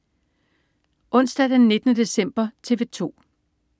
Onsdag den 19. december - TV 2: